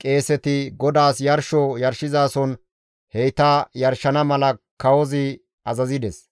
qeeseti GODAAS yarsho yarshizason heyta yarshana mala kawozi azazides.